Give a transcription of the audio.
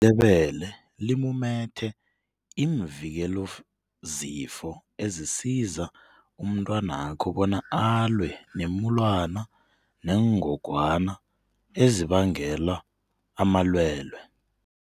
Ibisi lebele limumethe iimvikelazifo ezisiza umntwanakho bona alwe neemulwana neengogwana ezibangela amalwelwe.